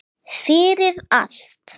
Fyrir allt.